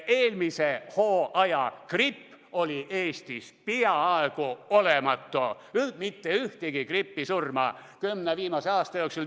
Eelmisel hooajal oli gripp Eestis peaaegu olematu, mitte ühtegi gripisurma kümne viimase aasta jooksul.